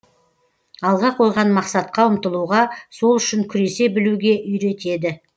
алға қойған мақсатқа ұмтылуға сол үшін күресе білуге үйретеді